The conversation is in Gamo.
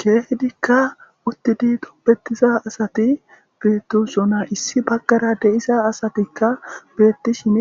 keehidikka uttidi toppetisa asati beettu sona issi baggara deisa asatikka beettishin